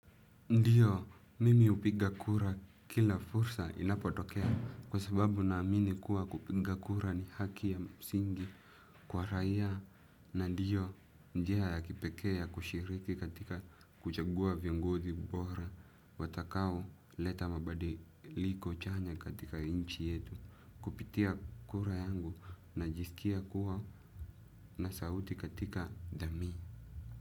Ndiyo mimi hupiga kura kila fursa inapotokea kwa sababu naamini kuwa kupiga kura ni haki ya msingi kwa raia na ndiyo njia ya kipekee ya kushiriki katika kuchagua viongozi bora watakaoleta mabadiliko chanya katika nchi yetu kupitia kura yangu najisikia kuwa na sauti katika jamii.